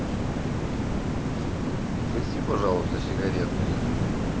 угости пожалуйста сигаретой